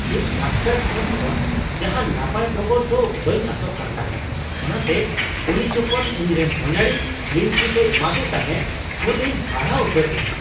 ᱤᱧ ᱰᱟᱠᱛᱟᱨ ᱴᱷᱮᱱ ᱠᱷᱚᱱ ᱡᱟᱦᱟᱱ ᱱᱟᱯᱟᱭ ᱰᱚᱜᱚᱨ ᱫᱚ ᱵᱟᱹᱧ ᱟᱥᱚᱜ ᱠᱟᱱ ᱛᱟᱦᱮᱸ, ᱚᱱᱟᱛᱮ ᱩᱱᱤ ᱡᱚᱠᱷᱚᱱ ᱤᱧ ᱨᱮᱱ ᱦᱟᱱᱦᱟᱨᱤᱧ ᱠᱞᱤᱱ ᱪᱤᱴ ᱮ ᱮᱢᱟᱫᱮ ᱛᱟᱦᱮᱸ ᱩᱱ ᱤᱧ ᱦᱟᱦᱟᱲᱟᱜ ᱩᱛᱟᱹᱨ ᱞᱮᱱᱟ ᱾